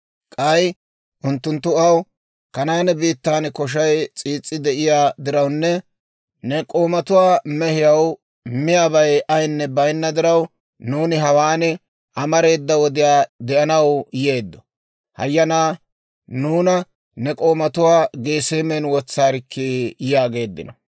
K'ay unttunttu aw, «Kanaane biittan koshay s'iis's'i de'iyaa dirawunne ne k'oomatuwaa mehiyaw miyaabay ayinne baynna diraw, nuuni hawaan amareeda wodiyaa de'anaw yeeddo; hayyanaa nuuna ne k'oomatuwaa Geseemen wotsaarikkii!» yaageeddino.